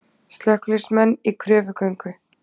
Slökkviliðsmenn í kröfugöngu